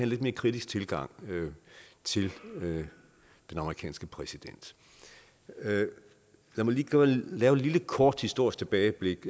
lidt mere kritisk tilgang til den amerikanske præsident lad mig lige lave et lille kort historisk tilbageblik